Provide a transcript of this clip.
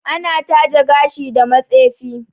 Ana taje gashi da matsefi